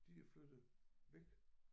Der er flyttet væk